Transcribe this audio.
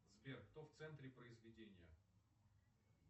сбер кто в центре произведения